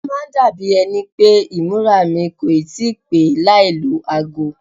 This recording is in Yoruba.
Ó máa ń dàbí ẹni pé ìmúra mi kò ì tí pè é láì lọ ago.